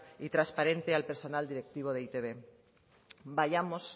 y transparente al personal directivo de e i te be vayamos